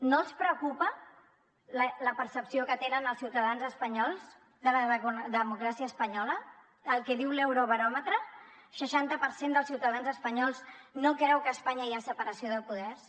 no els preocupa la percepció que tenen els ciutadans espanyols de la democràcia espanyola el que diu l’eurobaròmetre seixanta per cent dels ciutadans espanyols no creu que a espanya hi ha separació de poders